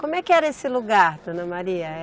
Como é que era esse lugar, dona Maria?